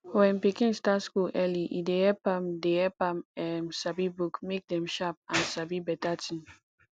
when pikin start school early e dey help am dey help am um sabi book make dem sharp and sabi beta tin